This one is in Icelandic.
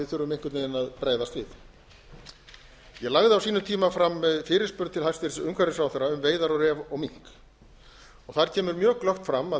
við urðu einhvern veginn að bregðast við ég lagði á sínum tíma fram fyrirspurn til hæstvirts umhverfisráðherra um veiðar á ref og mink þar kemur mjög glöggt fram að